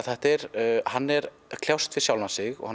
hann er að kljást við sjálfan sig og